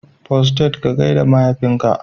Postate ka gaida mahaifinka.